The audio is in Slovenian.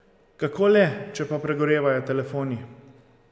Kako le, če pa pregorevajo telefoni?